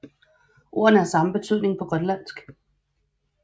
Ordene har samme betydning på grønlandsk